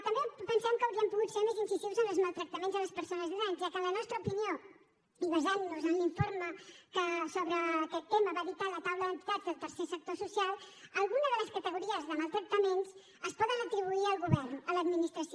també pensem que haurien pogut ser més incisius en els maltractaments a les persones grans ja que en la nostra opinió i basant nos en l’informe que sobre aquest tema va editar la taula d’entitats del tercer sector social alguna de les categories de maltractaments es poden atribuir al govern a l’administració